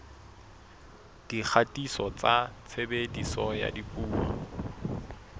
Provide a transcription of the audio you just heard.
dikgatiso tsa tshebediso ya dipuo